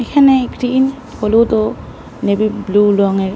এখানে একটি হলুদ ও নেভি ব্লু রঙের --